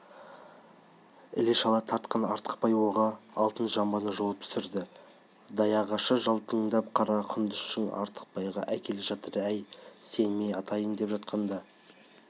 іле-шала тартқан артықбай оғы алтын жамбыны жұлып түсірді даяғашы жалтылдаған қара құндызды артықбайға әкеле жатыр әй сен мен атайын деп жатқанда